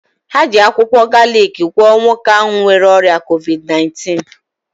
Ha ji akwụkwọ galiki gwọọ nwoke ahụ nwere ọrịa covid 19.